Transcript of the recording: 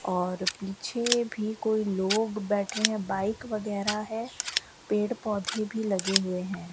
और पीछे भी कोई लोग बैठे हैं बाइक वगैरह है पेड़ पोधै भी लगे हुए हैं।